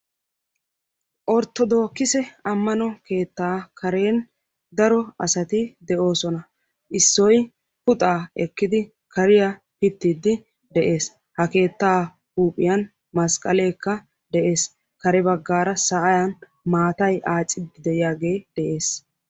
Orttodoogise ammano keettaa karen daro asati de'oosona. Issoy puxaa ekkidi kariyaa pittiiddi de'ees. Ha keettaa huuphiyan masqqaleekka de'ees. Kare baggaara sa'an maatay aacidi de"iyaagee de'ees.